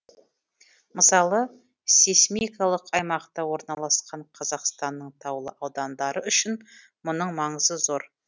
мысалы сейсмикалық аймақта орналасқан қазақстанның таулы аудандары үшін мұның маңызы зор